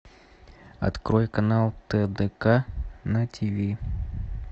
открой канал тдк на тв